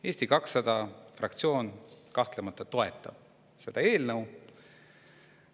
Eesti 200 fraktsioon kahtlemata toetab seda eelnõu.